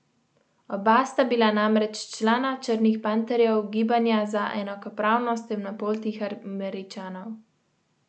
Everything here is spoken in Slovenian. Oba sta bila namreč člana Črnih panterjev, gibanja za enakopravnost temnopoltih Američanov.